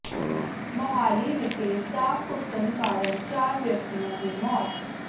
ਮੋਹਾਲੀ ਵਿਖੇ ਸਾਹ ਘੁੱਟਣ ਕਾਰਨ ਚਾਰ ਵਿਅਕਤੀਆਂ ਦੀ ਮੌਤ